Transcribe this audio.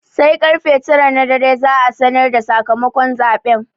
Sai karfe tara na dare za'a sanar da sakamakon zaɓen.